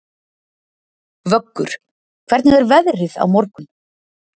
Vöggur, hvernig er veðrið á morgun?